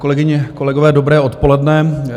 Kolegyně, kolegové, dobré odpoledne.